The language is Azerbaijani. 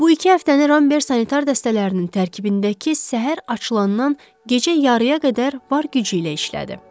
Bu iki həftəni Ramber sanitar dəstələrinin tərkibindəki hissə səhər açılandan gecə yarıya qədər var gücü ilə işlədi.